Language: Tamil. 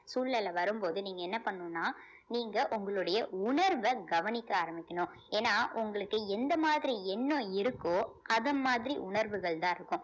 சூழ்நிலை வரும்போது நீங்க என்ன பண்ணணும்ன்னா நீங்க உங்களுடைய உணர்வ கவனிக்க ஆரம்பிக்கணும் ஏன்னா உங்களுக்கு எந்த மாதிரி எண்ணம் இருக்கோ அத மாதிரி உணர்வுகள்தான் இருக்கும்